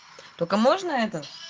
только можно это